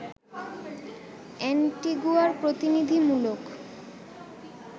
অ্যান্টিগুয়ার প্রতিনিধিত্বমূলক